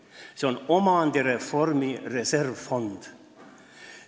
See on omandireformi reservfond.